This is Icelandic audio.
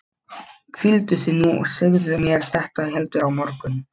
Hvíldu þig nú og segðu mér þetta heldur á morgun.